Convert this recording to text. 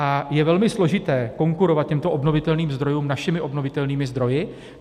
A je velmi složité konkurovat těmto obnovitelným zdrojům našimi obnovitelnými zdroji.